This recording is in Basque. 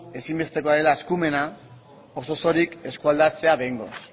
ezinbestekoa dela eskumena oso osorik eskualdatzea behingoz